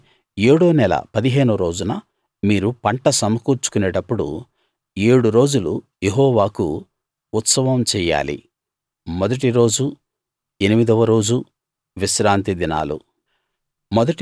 అయితే ఏడో నెల పదిహేనో రోజున మీరు పంట సమకూర్చుకునేటప్పుడు ఏడు రోజులు యెహోవాకు ఉత్సవం చెయ్యాలి మొదటిరోజు ఎనిమిదవ రోజు విశ్రాంతి దినాలు